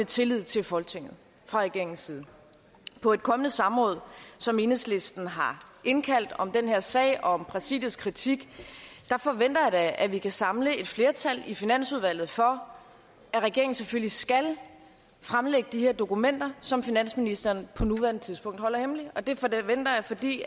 tillid til folketinget fra regeringens side på et kommende samråd som enhedslisten har indkaldt til om den her sag og om præsidiets kritik forventer jeg da at vi kan samle et flertal i finansudvalget for at regeringen selvfølgelig skal fremlægge de her dokumenter som finansministeren på nuværende tidspunkt holder hemmeligt det forventer jeg fordi